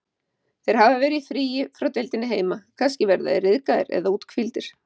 Þeir hafa verið í fríi frá deildinni heima, kannski verða þeir ryðgaðir eða úthvíldir.